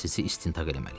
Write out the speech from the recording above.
Sizi istintaq eləməliyəm.